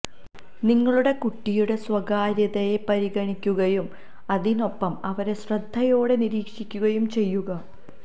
നിങ്ങളുടെ കുട്ടിയുടെ സ്വകാര്യതയെ പരിഗണിക്കുകയും അതിനൊപ്പം അവരെ ശ്രദ്ധയോടെ നിരീക്ഷിക്കുകയും ചെയ്യുക